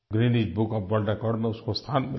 Guinness book of world record में उसको स्थान मिला